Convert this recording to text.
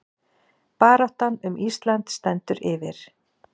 Baráttan um Ísland stendur yfir